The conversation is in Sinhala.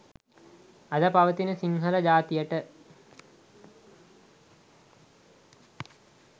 අද පවතින සිංහල ජාතියට